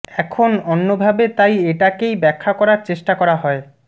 এখন অন্যভাবে তাই এইটাকে ব্যাখা করার চেষ্টা করা হয়